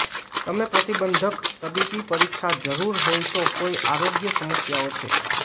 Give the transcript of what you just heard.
તમે પ્રતિબંધક તબીબી પરીક્ષા જરૂર હોય તો કોઇ આરોગ્ય સમસ્યાઓ છે